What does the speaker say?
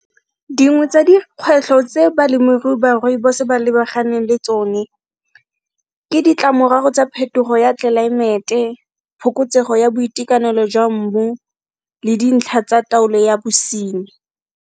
Dingwe tsa dikgwetlho tse balemirui ba Rooibos ba lebaganeng le tsone ke ditlamorago tsa phetogo ya tlelaemete, phokotsego ya boitekanelo jwa mmu, le dintlha tsa taolo ya bosenyi.